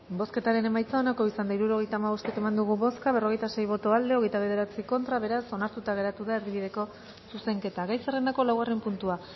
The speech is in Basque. bozketaren emaitza onako izan da hirurogeita hamabost eman dugu bozka berrogeita sei boto aldekoa veintinueve contra beraz onartuta geratu da erdibideko zuzenketa gai zerrendako laugarren puntua